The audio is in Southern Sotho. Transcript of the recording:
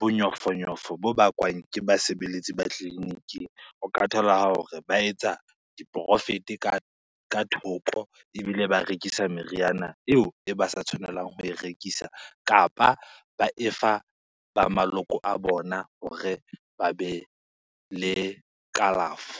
bonyofonyofo bo bakwang ke basebeletsi ba tleliniking. O ka thola hore ba etsa di-profit-e ka thoko ebile ba rekisa meriana ho eo e ba sa tshwanelang ho e rekisa. Kapa ba efa ba maloko a bona hore ba bele kalafo.